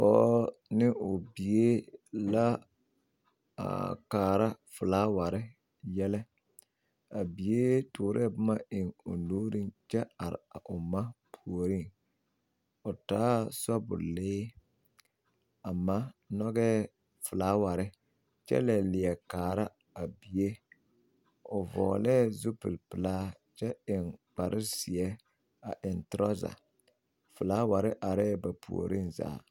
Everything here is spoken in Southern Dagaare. Pɔge ne o bie la a kaara filawaare yɛlɛ a avid tɔɔre la boma eŋ o nuuriŋ kyɛ are a o ma puoriŋ o taa sobɔlee a ma nyɔgɛɛ filawa are kyɛ la leɛ kaara a bie o vɔglee zupili pelaa kyɛ eŋ kpare zeɛ a eŋ toraza filaware arɛɛ ba puoriŋ zaa.